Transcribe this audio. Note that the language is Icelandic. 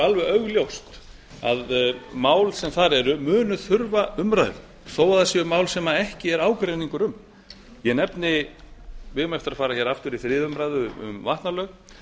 alveg augljóst að mál sem þar eru munu þurfa umræðu þó að það séu mál sem ekki er ágreiningur um ég nefni að við eigum eftir að fara hér aftur í þriðju umræðu um vatnalög